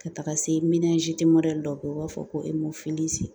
Ka taga se dɔ ye u b'a fɔ ko